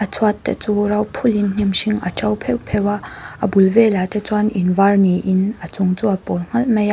chhuat te chu ro phulh in hnim hring a to pheuh pheuh a a bul velah te chuan in var niin a chung chu a pawl nghalh mai a.